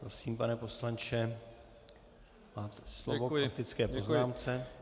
Prosím, pane poslanče, máte slovo k faktické poznámce.